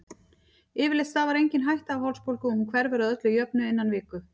Yfirleitt stafar engin hætta af hálsbólgu og hún hverfur að öllu jöfnu innan viku.